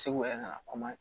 Segu yɛrɛ ka na kɔma